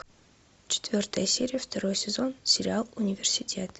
четвертая серия второй сезон сериал университет